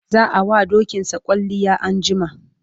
za'a wa dokinsa kwalliya anjima